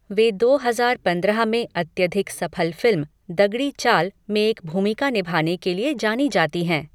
वे दो हजार पंद्रह में अत्यधिक सफल फिल्म 'दगड़ी चाल' में एक भूमिका निभाने के लिए जानी जाती हैं।